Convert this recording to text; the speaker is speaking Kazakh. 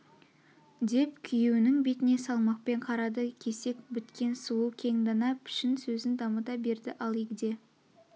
деп күйеунің бетіне салмақпен қарады кесек біткен сұлу кең дана пішін сөзін дамыта берді ал егде